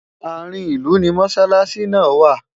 àárín ilú ní mosalasi nà wà